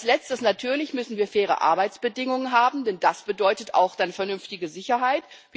Als Letztes Natürlich müssen wir faire Arbeitsbedingungen haben, denn das bedeutet dann auch vernünftige Sicherheit.